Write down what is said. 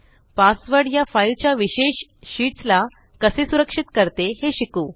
password या file च्या विशेष शीट्स ला कसे सुरक्षित करते हे शिकु